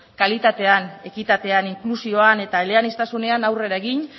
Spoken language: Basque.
kalitatean ekitatean inklusioan eta eleaniztasunean aurrera egin